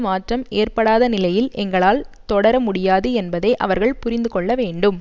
மாற்றம் ஏற்படாத நிலையில் எங்களால் தொடர முடியாது என்பதை அவர்கள் புரிந்து கொள்ள வேண்டும்